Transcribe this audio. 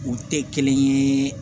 U tɛ kelen ye